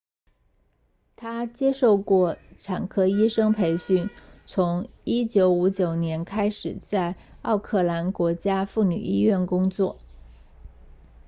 他接受过产科医生培训从1959年开始在奥克兰国家妇女医院工作